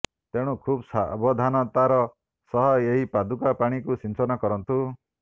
ତେଣୁ ଖୁବ୍ ସାବଧାନତାର ସହ ଏହି ପାଦୁକା ପାଣିକୁ ସିଂଚନ କରନ୍ତୁ